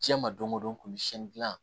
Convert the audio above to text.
Diɲɛ ma don o don komi siyɛnni dilan